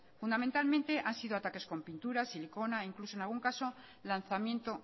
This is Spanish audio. fundamentalmente han sido ataques con pinturas siliconas e incluso en algún caso lanzamiento